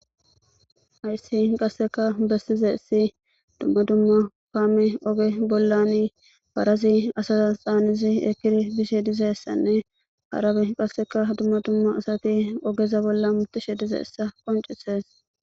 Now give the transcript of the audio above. Hayssi qasseka bessizayssi dumma dumma kaame oge bollan parazi asaza c'aanishe eqqidi dizayssanne dumma dumma asati ogeza bolla hamettishe de7izayssa qonccisees.